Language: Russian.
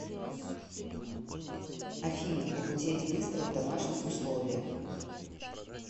афина похудеть быстро в домашних условиях